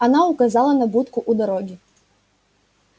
она указала на будку у дороги